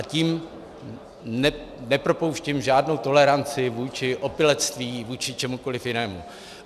A tím nepropouštím žádnou toleranci vůči opilectví, vůči čemukoli jinému.